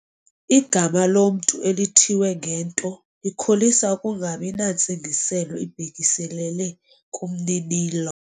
Igama lomntu elithiywe ngento likholisa ukungabi nantsingiselo ibhekiselele kumninilo.